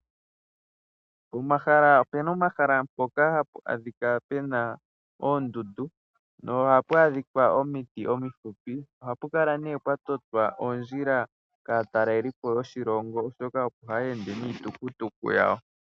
Opu na omahala mpoka hapu adhika pu na oondundu nohapu adhika omiti omifupu. Ohapu kala nduno pwa totwa oondjila kaatalelipo yoshilongo oshoka opo haya ende niitukutuku yawo.